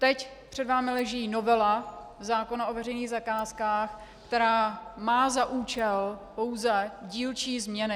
Teď před vámi leží novela zákona o veřejných zakázkách, která má za účel pouze dílčí změny.